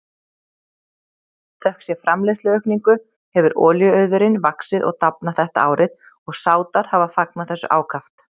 Þökk sé framleiðsluaukningu hefur olíuauðurinn vaxið og dafnað þetta árið og Sádar hafa fagnað þessu ákaft.